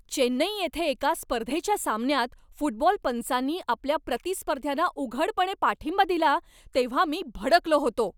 चेन्नई येथे एका स्पर्धेच्या सामन्यात फुटबॉल पंचांनी आमच्या प्रतिस्पर्ध्यांना उघडपणे पाठिंबा दिला तेव्हा मी भडकलो होतो.